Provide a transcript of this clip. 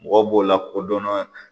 Mɔgɔw b'o la kodɔnna